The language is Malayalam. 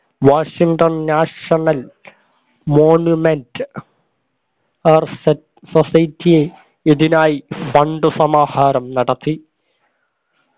Washington national monument arson society ഇതിനായി സന്തുസമാഹാരം നടത്തി